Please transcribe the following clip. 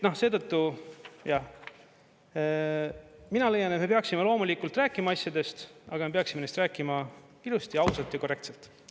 Seetõttu, jah, mina leian, et me peaksime loomulikult rääkima asjadest, aga me peaksime neist rääkima ilusti, ausalt ja korrektselt.